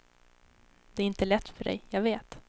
Det är inte lätt för dig, jag vet.